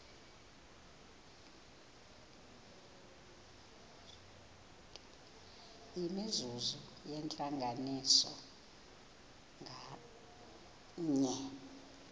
imizuzu yentlanganiso nganye